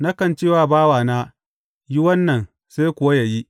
Nakan ce wa bawana, Yi wannan,’ sai kuwa yă yi.